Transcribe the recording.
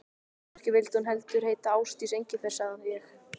Kannski vildi hún heldur heita Ásdís Engifer, sagði ég.